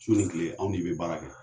Su ni kile anw de bɛ baara kɛ.